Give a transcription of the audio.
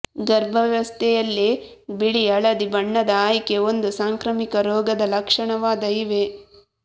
ಗರ್ಭಾವಸ್ಥೆಯಲ್ಲಿ ಬಿಳಿ ಹಳದಿ ಬಣ್ಣದ ಆಯ್ಕೆ ಒಂದು ಸಾಂಕ್ರಾಮಿಕ ರೋಗದ ಲಕ್ಷಣವಾದ ಇವೆ